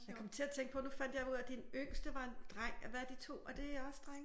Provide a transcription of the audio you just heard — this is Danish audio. Jeg kom til at tænke på nu fandt jeg jo ud af at din yngste var en dreng hvad er de 2? Er de også drenge?